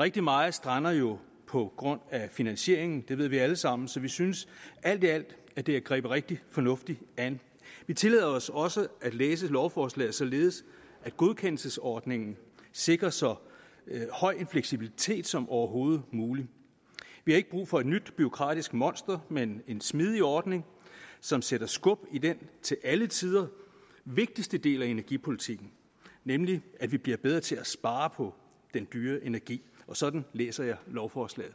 rigtig meget strander jo på grund af finansieringen det ved vi alle sammen så vi synes alt i alt at det er grebet rigtig fornuftigt an vi tillader os også at læse lovforslaget således at godkendelsesordningen sikrer så høj en fleksibilitet som overhovedet muligt vi har ikke brug for et nyt bureaukratisk monster men en smidig ordning som sætter skub i den til alle tider vigtigste del af energipolitikken nemlig at vi bliver bedre til at spare på den dyre energi og sådan læser jeg lovforslaget